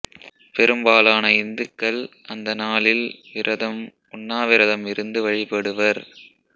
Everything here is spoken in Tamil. பெரும்பாலான இந்துக்கள் அந்த நாளில் விரதம் உண்ணா விரதம் இருந்து வழிபடுவர்